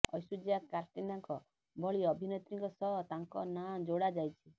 ଐଶ୍ବର୍ଯ୍ୟା କାଟ୍ରିନାଙ୍କ ଭଳି ଅଭିନେତ୍ରୀଙ୍କ ସହ ତାଙ୍କ ନାଁ ଯୋଡା ଯାଇଛି